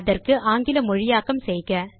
அதற்கு ஆங்கில மொழியாக்கம் செய்க